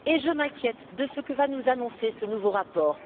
Et je m'inquiète de ce que va nous annoncer ce nouveau rapport.